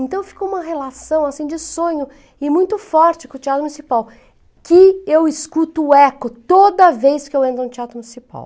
Então ficou uma relação, assim, de sonho e muito forte com o Teatro Municipal, que eu escuto o eco toda vez que eu entro no Teatro Municipal.